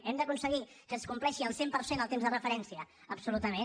hem d’aconseguir que es compleixi el cent per cent el temps de referència absolutament